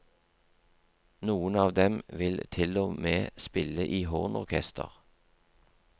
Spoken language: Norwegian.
Noen av dem vil til og med spille i hornorkester.